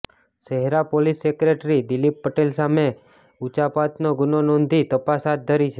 શહેરા પોલીસે સેક્રેટરી દિલીપ પટેલ સામે ઉચાપતનો ગુન્હો નોંધી તપાસ હાથ ધરી છે